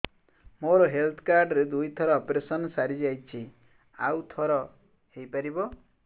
ମୋର health card ରେ ଦୁଇ ଥର ଅପେରସନ ସାରି ଯାଇଛି ଆଉ ଥର ହେଇପାରିବ